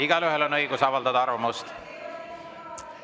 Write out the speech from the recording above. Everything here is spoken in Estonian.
Igaühel on õigus avaldada arvamust.